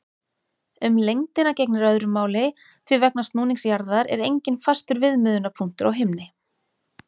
Um lengdina gegnir öðru máli því vegna snúnings jarðar er enginn fastur viðmiðunarpunktur á himni.